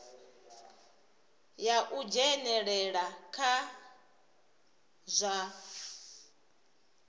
ya u dzhenelela kha zwa